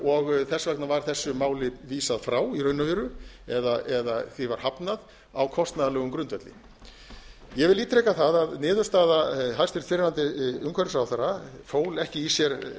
og þess vegna var þessu máli vísað frá í raun og veru eða því var hafnað á kostnaðarlegum grundvelli ég vil ítreka það að niðurstaða hæstvirtur fyrrverandi umhverfisráðherra fól ekki í sér